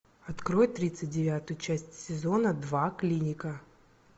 открой тридцать девятую часть сезона два клиника